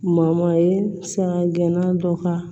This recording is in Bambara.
ye sanga gɛnna dɔ ka